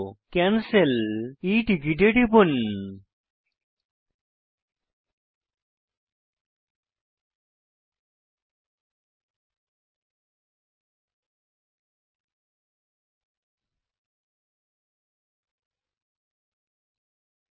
cancel e ticket এ টিপুন